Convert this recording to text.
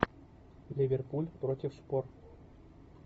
ливерпуль против шпор